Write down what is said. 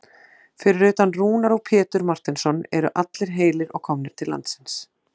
Fyrir utan Rúnar og Pétur Marteinsson eru allir heilir og komnir til landsins?